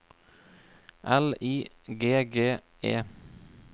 L I G G E